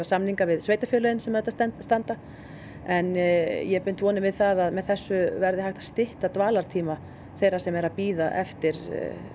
samninga við sveitarfélögin sem auðvitað standa en ég bind vonir við að með þessu verði hægt að stytta dvalartíma þeirra sem eru að bíða eftir